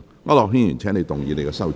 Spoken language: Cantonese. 區諾軒議員，請動議你的修正案。